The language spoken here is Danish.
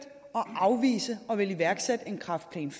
afvise at ville iværksætte en kræftplan iv